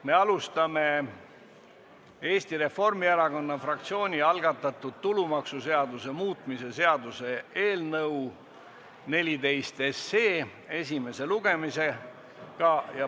Me alustame Eesti Reformierakonna fraktsiooni algatatud tulumaksuseaduse muutmise seaduse eelnõu 14 esimese lugemisega.